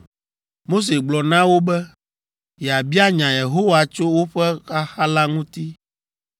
Mose gblɔ na wo be yeabia nya Yehowa tso woƒe xaxa la ŋuti.